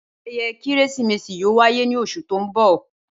Ayẹyẹ Keresimesi yoo wa ni oṣu ti n bọ.